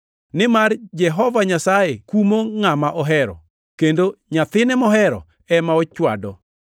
nimar Jehova Nyasaye kumo ngʼama ohero, kendo nyathine mohero ema ochwado.” + 12:6 \+xt Nge 3:11,12\+xt*